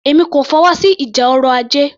Èmi kò fọwọ́sí ìjà ọrọ̀ ajé